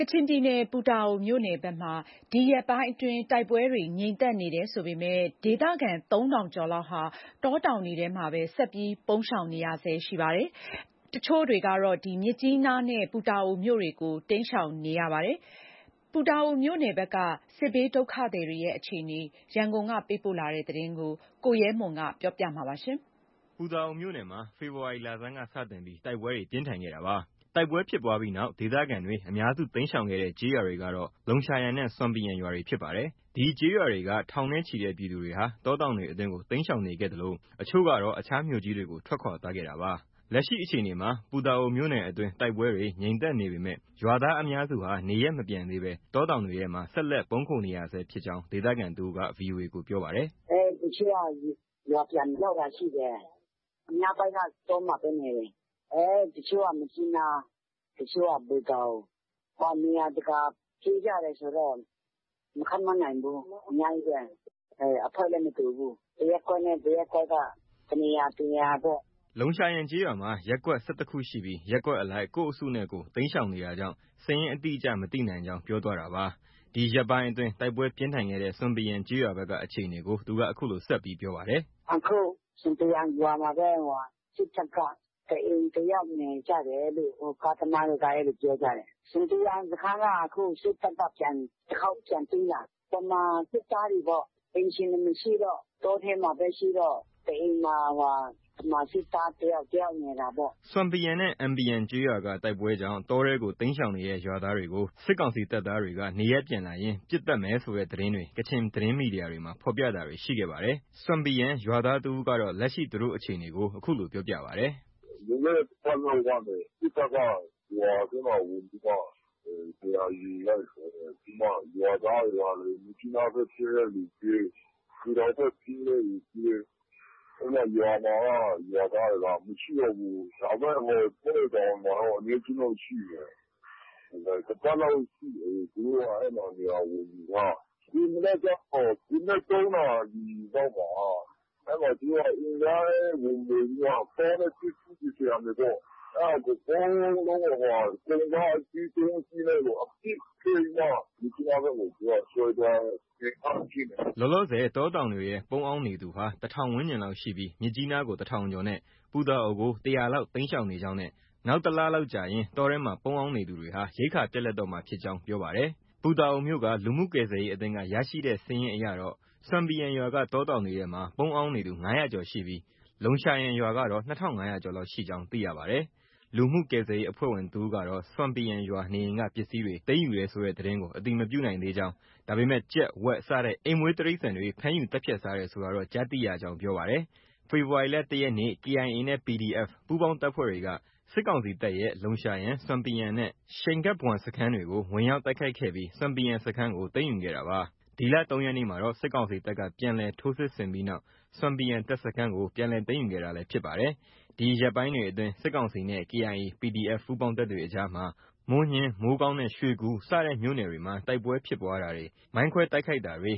ချင်ပြည်နယ် ပူတာအိုမြို့နယ်ဘက်မှာ ဒီရက်ပိုင်းအတွင်း တိုက်ပွဲတွေ ငြိမ်သက်နေပေမဲ့ ဒေသခံ ၃ဝဝဝ ကျော်လောက်ဟာ တောတောင်တွေအတွင်းမှာပဲ ပုန်းရှောင်နေကြရပါတယ်။ တချို့တွေကတော့ မြစ်ကြီးနားနဲ့ ပူတာအိုမြို့တွေကို တိမ်းရှောင်နေကြပါတယ်။ ပူတာအိုမြို့နယ်က စစ်ရှောင်တွေရဲ့အခြေအနေ ရန်ကုန်က ပေးပို့တဲ့သတင်းကို ကိုရဲမွန် က တင်ပြထားပါတယ်။ ပူတာအိုမြို့နယ်မှာ ဖေဖော်ဝါရီလဆန်းက စတင်ပြီး တိုက်ပွဲတွေ ပြင်းထန်ခဲ့တာပါ။ တိုက်ပွဲဖြစ်ပွားပြီးနောက် ဒေသခံတွေအများစု တိမ်းရှောင်ခဲ့တဲ့ ကျေးရွာတွေကတော့ လုံရှာယန်နဲ့ ဆွမ်ပီယန်ရွာတွေဖြစ်ပါတယ်။ ဒီကျေးရွာက ထောင်နဲ့ချီတဲ့ ပြည်သူတွေဟာ တောတောင်တွေအတွင်းကို တိမ်းရှောင်နေခဲ့သလို အချို့ကတော့ အခြားမြို့ကြီးတွေကို ထွက်ခွာသွားခဲ့တာပါ။ လက်ရှိအခြေအနေမှာ ပူတာအိုမြို့နယ်အတွင်းတိုက်ပွဲတွေ ငြိမ်သက်နေပေမဲ့ ရွာသားအများစုဟာ နေရပ်မပြန်သေးဘဲ တောတောင်တွေမှာ ဆက်လက် ပုန်းခိုနေဆဲဖြစ်ကြောင်း ဒေသခံတစ်ဦးက VOA ကို ပြောပါတယ်။ “ တချို့က ရွာပြန်သွားတာရှိတယ်။ အများပိုင်းက တောမှာပဲ နေတယ်။ တချို့က မြစ်ကြီးနား၊ တချို့က ပူတာအို။ နေရာတကာ ပြေးကြတာဆိုတော့ မခန့်မှန်းနိုင်ဘူး။ အများကြီးပဲ။ အဖွဲ့လည်း မတူဘူး။ တစ်ရပ်ကွက်နဲ့ တစ်ရပ်ကွက်က တစ်နေရာ တစ်နေရာပေါ့။” လုံရှာယန်ကျေးရွာမှာ ရပ်ကွက် ၁၁ခုရှိပြီး ရပ်ကွက်အလိုက် ကိုယ့်အစုနဲ့ကိုယ် တိမ်းရှောင်နေတာကြောင့် စာရင်းအတိအကျမသိနိုင်ကြောင်း ပြောသွားတာပါ။ ဒီရက်ပိုင်းအတွင်း တိုက်ပွဲပြင်းထန်ခဲ့တဲ့ ဆွမ်ပီယန်ကျေးရွာဘက်က အခြေအနေကို သူက အခုလို ဆက်ပြောပါတယ်။ “ အခု ဆွမ်ပီယန်ရွာမှာပဲ စစ်တပ်က တစ်အိမ်တစ်ယောက်နေကြတယ်လို့ ကားသမားတွေက ပြောကြတယ်။ ဆွမ်ပီယန်စခန်းက အခု စစ်တပ်က တခေါက်ပြန်သိမ်းတာ။ ဗမာစစ်သားတွေပေါ့။ အိမ်ရှင်တွေ မရှိတော့ တောထဲမှာပဲရှိတော့ တအိမ်မှာ ဗမာစစ်သားတစ်ယောက် တယောက်နေတာပေါ့။ ” ဆွမ်ပီယန်နဲ့ အင်ပီယန်ကျေးရွာက တိုက်ပွဲကြောင့် တောထဲကို တိမ်းရှောင်နေတဲ့ ရွာသားတွေကို စစ်ကောင်စီတပ်သားတွေက နေရပ်ပြန်လာရင် ပစ်သတ်မယ်ဆိုတဲ့သတင်းတွေ ကချင်သတင်းမီဒီယာတွေမှာ ဖော်ပြတာတွေ ရှိခဲ့ပါတယ်။ ဆွမ်ပီယန်ရွာသားတဦးကတော့ လက်ရှိ သူတို့ အခြေအနေကို အခုလို ပြောပါတယ်။ “ လွန်ခဲ့တဲ့ တပတ်လောက်ကနေ စစ်တပ်က ရွာထဲမှာ ဝင်ပြီးမှ နေရာယူလိုက်တယ်။ ရွာသားတွေကလည်း မြစ်ကြီးနားဘက် ပြေးတဲ့သူပြေး။ ပူတာအိုဘက် ပြေးတဲ့သူပြေး။ ရွာမှာက ရွာသားတွေက မရှိတော့ဘူး။ ဒါပေမဲ့ တောတွေ တောင်တွေမှာက အနည်းအကျဉ်းတော့ ရှိတယ်။ တစ်ပတ်လောက်ရှိပြီ သူတို့က နေရာဝင်ယူထားတာ။ ဒီမနက်ကျတော့ မနက် ၃နာရီလောက်မှာ သူတို့က အိမ်တိုင်းဝင်မွှေပြီးမှ ကောင်းတဲ့ ပစ္စည်းတွေပေါ့ အဲဒါ အကုန်လုံး ကုန်ကား ၃စီးနဲ့ အပြည့်တင်ပြီးမှ မြစ်ကြီးနားဘက်ကို ဆွဲသွားတဲ့ အနေအထား ဖြစ်နေတယ်။” လောလောဆယ် တောတောင်တွေထဲ ပုန်းအောင်းနေသူဟာ ၁၀၀၀ ဝန်းကျင်လောက်ရှိပြီး မြစ်ကြီးနားကို ၁၀၀၀ကျော်နဲ့ ပူတာအိုကို ၁၀၀လောက် တိမ်းရှောင်နေကြောင်းနဲ့ နောက် တလောက်ကြာရင် တောထဲမှာ ပုန်းအောင်းနေသူတွေဟာ ရိက္ခာပြတ်လပ်တော့မှာ ဖြစ်ကြောင်း ပြောပါတယ်။ ပူတာအိုမြို့ လူမှုကယ်ဆယ်ရေးအသင်းက ရရှိတဲ့စာရင်းအရတော့ ဆွမ်ပီယန်ရွာက တောတောင်တွေထဲမှာ ပုန်းအောင်းနေသူ ၅၀၀ကျော်ရှိပြီး လုံရှာယန်ရွာကတော့ ၂၅၀၀ကျော်လောက်ရှိကြောင်း သိရပါတယ်။ လူမှုကယ်ဆယ်ရေးအဖွဲ့ဝင်တဦးကတော့ ဆွမ်ပီယန်ရွာ နေအိမ်က ပစ္စည်းတွေ သိမ်းယူတယ်ဆိုတဲ့ သတင်းကို အတည်မပြုနိုင်သေးကြောင်း၊ ဒါပေမဲ့ ကြက်၊ ဝက် စတဲ့ အိမ်မွေး တိရိစ္ဆာန်တွေ ဖမ်းယူသတ်ဖြတ်စားတယ် ဆိုတာတော့ ကြား သိရကြောင်း ပြောပါတယ်။ ဖေဖော်ဝါရီလ ၁ရက်နေ့ KIA နဲ့ PDF ပူးပေါင်းတပ်တွေက စစ်ကောင်စီတပ်ရဲ့ လုံရှာယန်၊ ဆွမ်ပီယန်နဲ့ ရှိန်ဂတ်ဘွမ်စခန်း တွေကို ဝင်ရောက်တိုက်ခိုက်ခဲ့ပြီး ဆွမ်ပီယန်စခန်းကို သိမ်းယူခဲ့တာပါ။ ဒီလ ၃ရက်နေ့မှာတော့ စစ်ကောင်စီတပ်က ပြန်လည်ထိုးစစ်ဆင်ပြီးနောက် ဆွမ်ပီယန်တပ်စခန်းကို ပြန်လည်သိမ်းယူခဲ့တာလည်း ဖြစ်ပါတယ်။ ဒီရက်ပိုင်းတွေအတွင်း စစ်ကောင်စီနဲ့ KIA၊ PDF ပူးပေါင်းတပ်တွေအကြားမှာ မိုးညှင်း၊ မိုးကောင်းနဲ့ ရွှေကူစတဲ့မြို့နယ်တွေမှာ တိုက်ပွဲဖြစ်ပွားတာတွေ၊ မိုင်းခွဲတိုက်ခိုက်တာတွေ